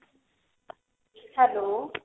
hello